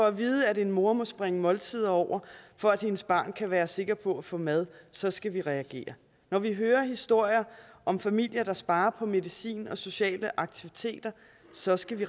at vide at en mor må springe måltider over for at hendes barn kan være sikker på at få mad så skal vi reagere når vi hører historier om familier der sparer på medicin og sociale aktiviteter så skal vi